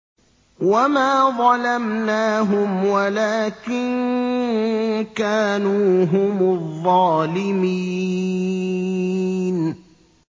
وَمَا ظَلَمْنَاهُمْ وَلَٰكِن كَانُوا هُمُ الظَّالِمِينَ